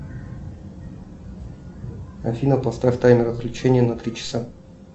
афина поставь таймер отключения на три часа